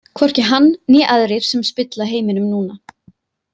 Hvorki hann né aðrir sem spilla heiminum núna.